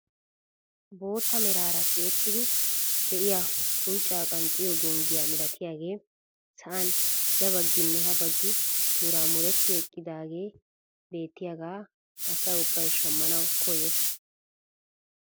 Bootta meraara tiyettidi de'iyaa unccaa qanxxiyoo gonggiyaa milatiyaagee sa'an ya bagginne ha baggi muraamuretti eqqidaagee beettiyaagaa asa ubbay shammanawu koyees.